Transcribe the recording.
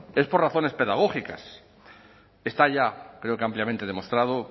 es por razones pedagógicas está ya creo que ampliamente demostrado